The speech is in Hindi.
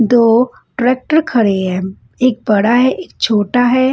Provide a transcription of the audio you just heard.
दो ट्रेक्टर खडे है एक बड़ा है एक छोटा है।